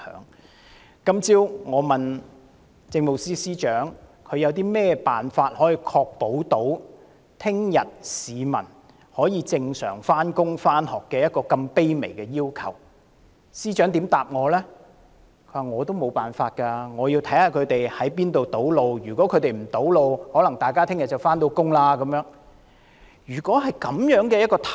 我今早詢問政務司司長，有何辦法可確保市民明天可正常上班和上學，對於這麼卑微的要求，司長回答他也沒有辦法，要視乎何處出現堵路，如沒有堵路行動，市民便可如常上班。